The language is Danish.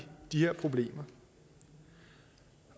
de her problemer